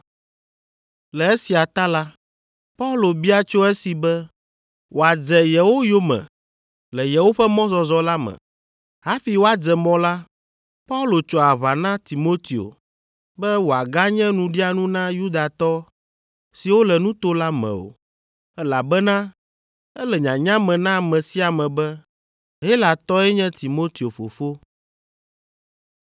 Le esia ta la, Paulo bia tso esi be wòadze yewo yome le yewoƒe mɔzɔzɔ la me. Hafi woadze mɔ la, Paulo tso aʋa na Timoteo be wòaganye nuɖianu na Yudatɔ siwo le nuto la me o, elabena ele nyanya me na ame sia ame be Helatɔe nye Timoteo fofo.